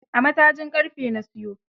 A'a matajin ƙarfe na siyo.